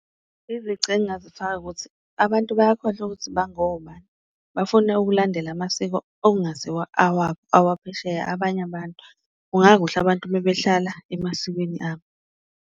Izici engazifaka ukuthi abantu bayakhohlwa ukuthi bangobani, bafune ukulandela amasiko okungasiwo awabo awaphesheya abanye abantu, kungakuhle abantu mebehlala emasikweni abo.